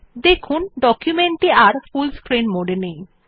দেখুন ডকুমেন্ট টি আর ফুল স্ক্রিন মোড এ নেই